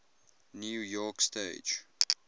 new york stage